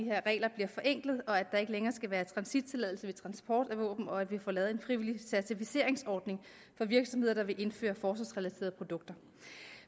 her regler bliver forenklet at der ikke længere skal være transittilladelse ved transport af våben og at vi får lavet en frivillig certificeringsordning for virksomheder der vil indføre forsvarsrelaterede produkter